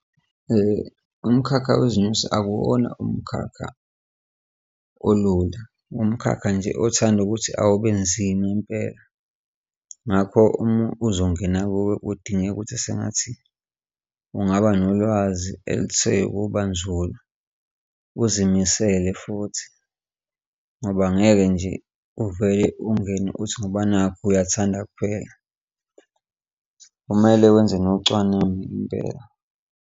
Umkhakha wezinyosi akuwona umkhakha olula umkhakha nje othanda ukuthi awube nzima impela, ngakho uma uzongena kuwo kudingeka ukuthi sengathi kungaba nolwazi elithe ukuba nzulu uzimisele futhi ngoba ngeke nje uvele ungene uthi ngoba nakhu uyathanda kuphela, kumele wenze nocwaningo impela.